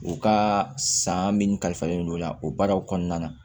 U ka san min kalifalen don o la o baaraw kɔnɔna na